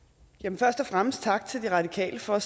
først og fremmest tak til de radikale for at